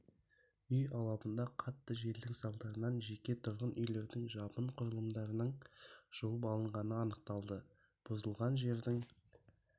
үй алабында қатты желдің салдарынан жеке тұрғын үйлердің жабын құрылымдарының жұлып алынғаны анықталды бұзылған жердің